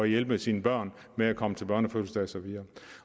hjælpe sine børn med at komme til børnefødselsdage